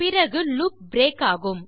பிறகு loop break ஆகும்